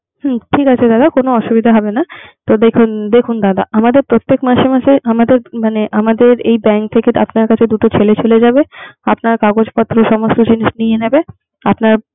হুম ঠিক আছে। কোন অসুবিধা হবে না। দেখুন দাদা আমার প্রত্যেক মাসে মাসে আমাদের মানে এই bank থেকে আপনার কাছে দুটো ছেলে চলে যাবে। আপনার কাগজ পত্র সমস্ত কিছু নিয়ে নেবে। আপনার